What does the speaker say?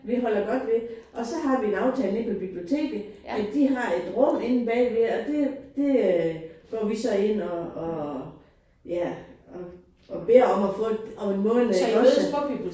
Vi holder godt ved. Og så har vi en aftale inde ved biblioteket at de har et rum inde bagved og det det øh går vi så ind og og ja og beder om at få om en måned ikke også